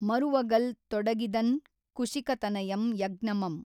ಮರುವಗಲ್ ತೊಡಗಿದನ್ ಕುಶಿಕತನಯಂ ಯಜ್ಞಮಂ.